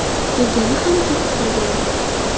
Kelgani ham ketib qolgan.